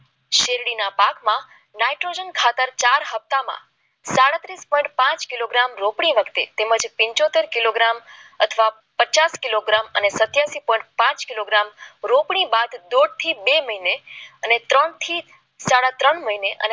ઇસપર પાક કિલોગ્રામ રોકડી વખતે તેમજ તેમજ પાછોતેર કિલોગ્રામ અથવા પચાસ કિલોગ્રામ અને સત્યાવીસ પોઈન્ટ પાંચ કિલોગ્રામ રોકડી બાદ દોઢ થી બે મહિને ત્રણથી સાડા ત્રણ મહિને